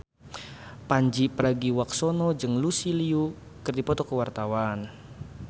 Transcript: Pandji Pragiwaksono jeung Lucy Liu keur dipoto ku wartawan